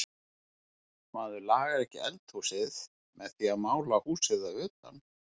Maður lagar ekki eldhúsið með því að mála húsið að utan.